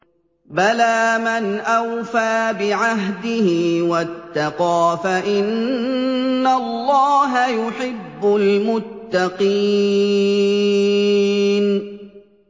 بَلَىٰ مَنْ أَوْفَىٰ بِعَهْدِهِ وَاتَّقَىٰ فَإِنَّ اللَّهَ يُحِبُّ الْمُتَّقِينَ